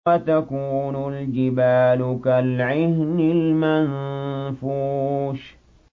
وَتَكُونُ الْجِبَالُ كَالْعِهْنِ الْمَنفُوشِ